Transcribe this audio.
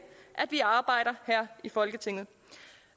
at vi arbejder her i folketinget